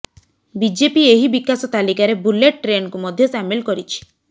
BJP ଏହି ବିକାଶ ତାଲିକାରେ ବୁଲେଟ ଟ୍ରେନକୁ ମଧ୍ୟ ସାମିଲ କରିଛି